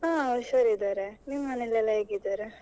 ಹಾ ಹುಷಾರ್ ಇದ್ದಾರೆ, ನಿಮ್ ಮನೇಲೆಲ್ಲ ಹೇಗಿದ್ದಾರೆ?